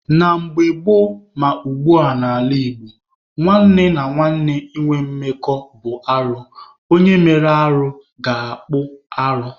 Na mgbe gboo ma ugbua n'ala Igbo, nwanne na nwanne ịnwe mmekọ bụ arụ. Onye mere arụ ga-akpụ arụ.